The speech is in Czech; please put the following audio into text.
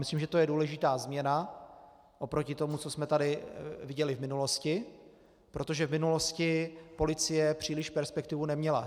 Myslím, že to je důležitá změna oproti tomu, co jsme tady viděli v minulosti, protože v minulosti policie příliš perspektivu neměla.